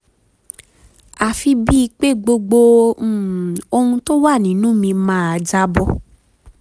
àfi bíi pé gbogbo um ohun tó wà nínú mi máa jábọ́